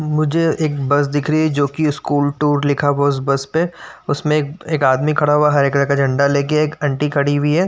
मुझे एक बस दिख रही है जो की स्कूल टूर लिखा हुआ है उस बस पे । उसमे एक आदमी खड़ा हुआ है हरे कलर का झंडा लेके। एक आंटी खड़ी हुई है।